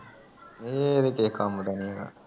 ਇਹ ਤਾਂ ਕਿਸੇ ਕੰਮ ਦਾ ਨਹੀਂ ਹੈਗਾ